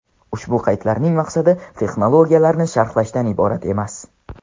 Ushbu qaydlarning maqsadi texnologiyalarni sharhlashdan iborat emas.